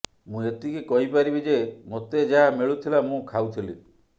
ମୁଁ ଏତିକି କହିପାରିବି ଯେ ମୋତେ ଯାହା ମିଳୁଥିଲା ମୁଁ ଖାଉଥିଲି